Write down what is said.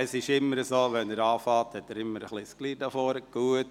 Es ist immer so, dass es am Anfang hier vorne ein Durcheinander gibt.